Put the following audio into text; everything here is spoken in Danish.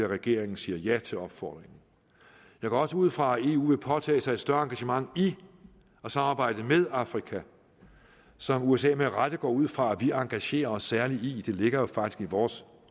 regeringen siger ja til opfordringen jeg går også ud fra at eu vil påtage sig et større engagement i og samarbejde med afrika som usa med rette går ud fra at vi engagerer os særligt i det ligger jo faktisk i vores